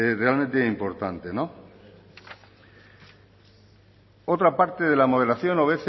realmente importante otra parte de la modelación